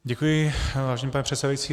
Děkuji, vážený pane předsedající.